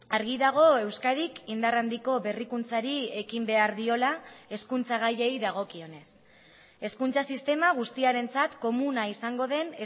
argi dago euskadik indar handiko berrikuntzari ekin behar diola hezkuntza gaiei dagokionez hezkuntza sistema guztiarentzat komuna izango den